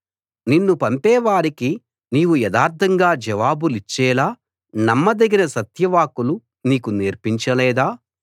నిన్ను పంపేవారికి నీవు యథార్థంగా జవాబులిచ్చేలా నమ్మదగిన సత్యవాక్కులు నీకు నేర్పించ లేదా